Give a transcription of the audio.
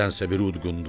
Nədənsə bir udqundu.